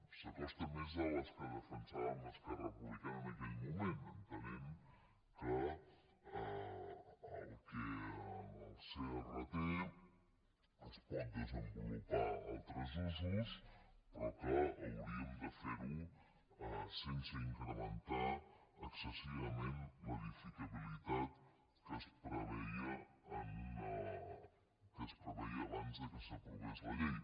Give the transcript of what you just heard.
s’acosta més a les que defensàvem esquerra republi·cana en aquell moment entenent que en el crt es pot desenvolupar altres usos però que hauríem de fer·ho sense incrementar excessivament l’edificabilitat que es preveia abans que s’aprovés la llei